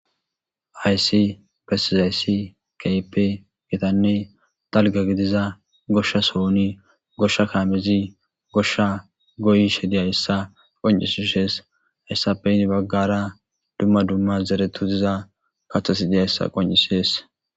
Hayssi bessizayssi keehippe gitanne dalgga gidiza goshsha sohon goshsha kaamezi goshsha goyishe diyayssa qonccises. Hayssappe heni baggara dumma dumma zeretu diza kaththati dizayssa qonccises.